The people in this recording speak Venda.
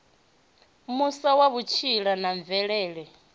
muswa wa vhutsila na mvelele